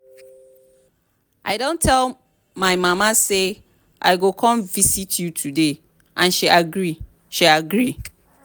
i don tell my mama say i go come visit you today and she agree she agree